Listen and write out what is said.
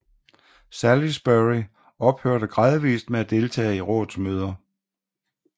Salisbury ophørte gradvist med at deltage i rådets møder